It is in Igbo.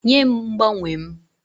Nye m mgbanwe m!